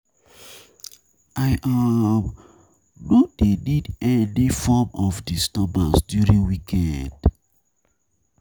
I um no dey need any form of disturbance during weekend.